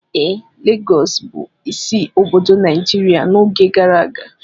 Ee, Lagọọsù bụ isi obodo Nigeria n'oge gara aga